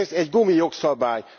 Ez egy gumi jogszabály!